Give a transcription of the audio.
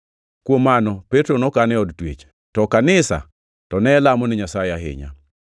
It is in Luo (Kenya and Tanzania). Kuom mano, Petro nokan e od twech, to kanisa to ne lamone Nyasaye ahinya.